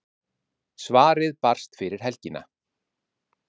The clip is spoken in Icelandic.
Svarið barst fyrir helgina.